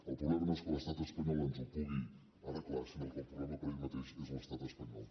el problema no és que l’estat espanyol ens ho pugui arreglar sinó que el problema per ell mateix és l’estat espanyol